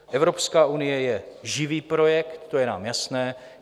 Evropská unie je živý projekt, to je nám jasné.